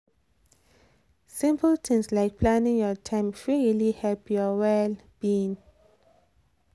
simple things like planning your time fit really help your well-being.